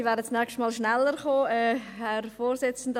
Gut, ich werde nächstes Mal schneller sein.